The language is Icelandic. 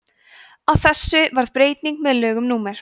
á þessu varð breyting með lögum númer